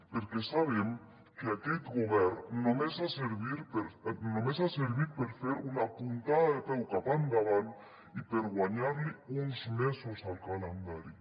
perquè sabem que aquest govern només ha servit per fer una puntada de peu cap endavant i per guanyar li uns mesos al calendari